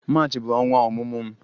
March bụ ọnwa ọmụmụ m